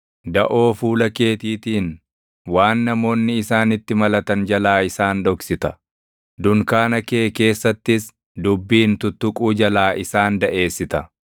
Daʼoo fuula keetiitiin, waan namoonni isaanitti malatan jalaa isaan dhoksita; dunkaana kee keessattis dubbiin tuttuquu jalaa isaan daʼeessita.